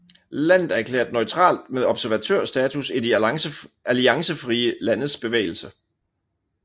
Landet er erklæret neutralt med observatørstatus i De alliancefrie landes bevægelse